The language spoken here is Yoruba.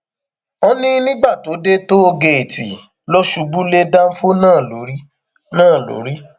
ó ní nígbà tó dé tóògéètì ló ṣubú lé dánfọ náà lórí náà lórí